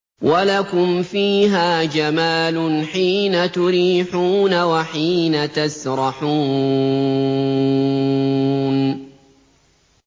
وَلَكُمْ فِيهَا جَمَالٌ حِينَ تُرِيحُونَ وَحِينَ تَسْرَحُونَ